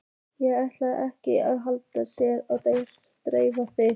Ég ætla ekki að standa hér og dekstra þig.